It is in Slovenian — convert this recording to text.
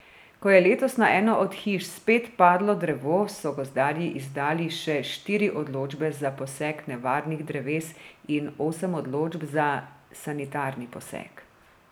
Ko je letos na eno od hiš spet padlo drevo, so gozdarji izdali še štiri odločbe za posek nevarnih dreves in osem odločb za sanitarni posek.